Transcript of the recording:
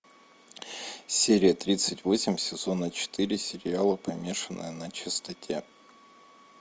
серия тридцать восемь сезона четыре сериала помешанные на чистоте